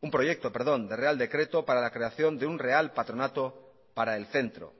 un proyecto de real decreto para la creación de un real patronato para el centro